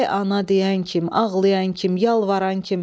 Vay ana deyən kim, ağlayan kim, yalvaran kim.